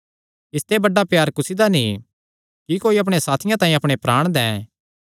इसते बड्डा प्यार कुसी दा नीं कि कोई अपणे साथियां तांई अपणे प्राण दैं